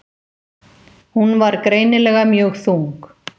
Hún var greinilega mjög þung.